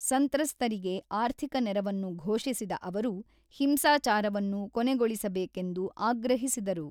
ಸಂತ್ರಸ್ತರಿಗೆ ಆರ್ಥಿಕ ನೆರವನ್ನು ಘೋಷಿಸಿದ ಅವರು, ಹಿಂಸಾಚಾರವನ್ನು ಕೊನೆಗೊಳಿಸಬೇಕೆಂದು ಆಗ್ರಹಿಸಿದರು.